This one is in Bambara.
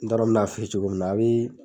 N t'a dɔ min'a f'i ye cogo min na a be